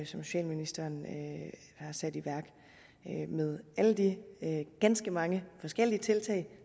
socialministeren har sat i værk med alle de ganske mange forskellige tiltag